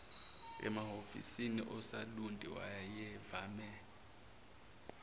emahhovisi asolundi wayevame